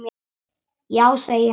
Já, segir hann ákafur.